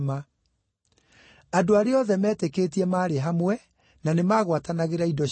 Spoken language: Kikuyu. Andũ arĩa othe meetĩkĩtie maarĩ hamwe, na nĩmagwatanagĩra indo ciothe.